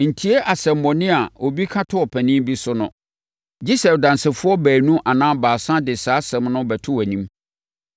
Ntie asɛmmɔne a obi ka to ɔpanin bi so no, gye sɛ adansefoɔ baanu anaa baasa de saa asɛm no bɛto wʼanim.